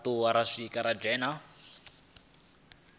fhethu ha u dzula na